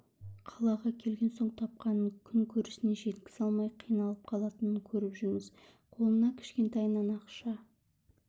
қалаға келген соң тапқанын күн көрісіне жеткізе алмай қиналып қалатынын көріп жүрміз қолына кішкентайынан ақша